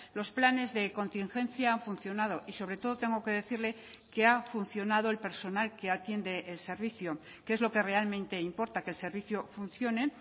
los planes de contingencia han funcionado y sobre todo tengo que decirle que ha funcionado el personal que atiende el servicio que es lo que realmente importa que el servicio funcione